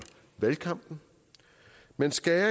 valgkampen man skærer